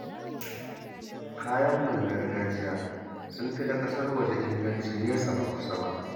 Kayanmu na gargajiya sun fi na ƙasar waje inganci nesa ba kusa ba